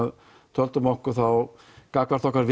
töldum okkur þá gagnvart okkar